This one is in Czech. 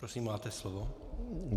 Prosím, máte slovo.